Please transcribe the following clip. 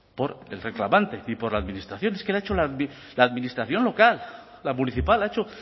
por el reclamante y por la administración es que la ha hecho la administración local la municipal ha hecho